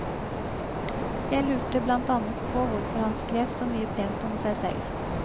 Jeg lurte blant annet på hvorfor han skrev så mye pent om seg selv.